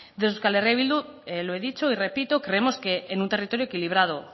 desde euskal herria bildu lo he dicho y repito creemos que en un territorio equilibrado